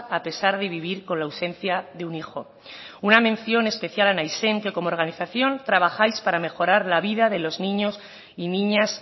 a pesar de vivir con la ausencia de un hijo una mención especial a naizen que como organización trabajáis para mejorar la vida de los niños y niñas